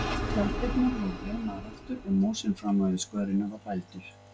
Tjalddyrnar voru reimaðar aftur og mosinn framan við skörina var bældur.